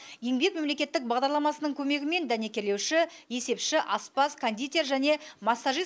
еңбек мемлекеттік бағдарламасының көмегімен дәнекерлеуші есепші аспаз кондитер және массажист